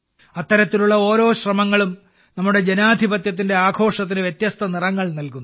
അത്തരത്തിലുള്ള ഓരോ ശ്രമങ്ങളും നമ്മുടെ ജനാധിപത്യത്തിന്റെ ആഘോഷത്തിന് വ്യത്യസ്ത നിറങ്ങൾ നൽകുന്നു